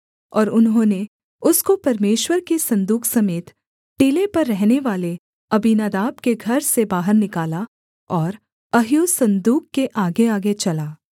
और उन्होंने उसको परमेश्वर के सन्दूक समेत टीले पर रहनेवाले अबीनादाब के घर से बाहर निकाला और अह्यो सन्दूक के आगेआगे चला